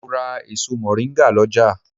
Mo ra èso mọ̀ríngà lọ́jà